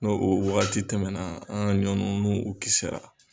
No o waagati tɛmɛna, an ka ɲɔ nunnu kisira.